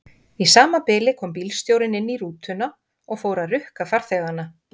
Í sama bili kom bílstjórinn inn í rútuna og fór að rukka farþegana.